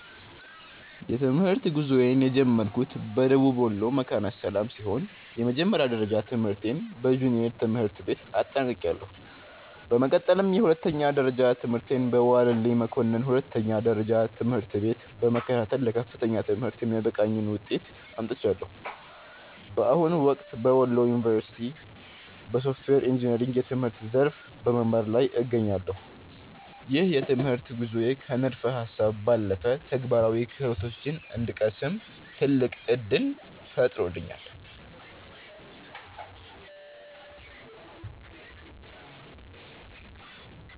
የትምህርት ጉዞዬን የጀመርኩት በደቡብ ወሎ መካነ ሰላም ሲሆን፣ የመጀመሪያ ደረጃ ትምህርቴን በጁኒየር ትምህርት ቤት አጠናቅቄያለሁ። በመቀጠልም የሁለተኛ ደረጃ ትምህርቴን በዋለልኝ መኮንን ሁለተኛ ደረጃ ትምህርት ቤት በመከታተል ለከፍተኛ ትምህርት የሚያበቃኝን ውጤት አምጥቻለሁ። በአሁኑ ወቅት በወሎ ዩኒቨርሲቲ (Wollo University) በሶፍትዌር ኢንጂነሪንግ የትምህርት ዘርፍ በመማር ላይ እገኛለሁ። ይህ የትምህርት ጉዞዬ ከንድፈ ሃሳብ ባለፈ ተግባራዊ ክህሎቶችን እንድቀስም ትልቅ ዕድል ፈጥሮልኛል።